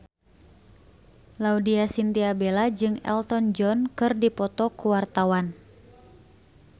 Laudya Chintya Bella jeung Elton John keur dipoto ku wartawan